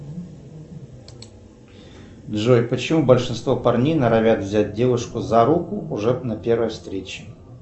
джой почему большинство парней норовят взять девушку за руку уже на первой встрече